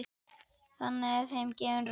Þannig er þeim gefin rödd.